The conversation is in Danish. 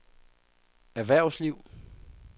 erhvervsliv